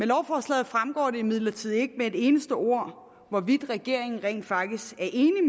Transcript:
lovforslaget fremgår det imidlertid ikke med et eneste ord hvorvidt regeringen rent faktisk